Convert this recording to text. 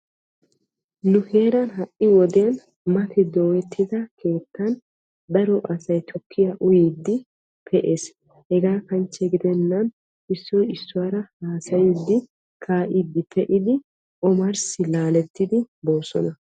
Nu heeran ha"i wodiyan mati dooyettida keettan daro asay tukkiyaa uyiiddi pe'ees. Hegaa kanchche gidennan issoy issuwaara haasayiiddi kaa"iiddi pee"idi omarssi laalettidi boosona.